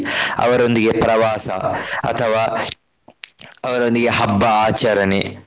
ಅವರೊಂದಿಗೆ ಪ್ರವಾಸ ಅಥವಾ ಅವರೊಂದಿಗೆ ಹಬ್ಬ ಆಚರಣೆ.